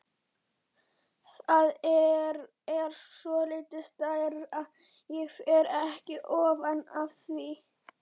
Það er svolítið stærra, ég fer ekki ofan af því!